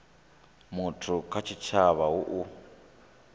muthu kha tshitshavha hu u